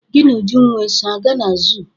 Gị na Ujunwa eso aga na zuu?